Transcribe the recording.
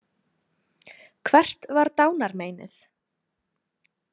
Hvert var dánarmeinið?